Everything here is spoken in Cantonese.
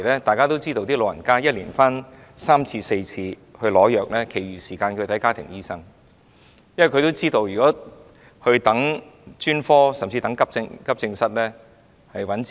大家都知道，長者一年回來取三四次藥，其餘時間都是看家庭醫生的，因為他們知道，如果輪候專科服務，甚至到急症室候診的話，是愚弄自己。